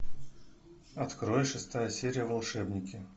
открой шестая серия волшебники